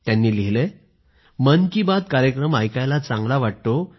त्यांनी लिहिलंय मन की बात कार्यक्रम ऐकायला चांगला वाटतो